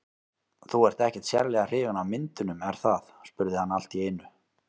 Þú ert ekkert sérlega hrifin af myndunum, er það? spurði hann allt í einu.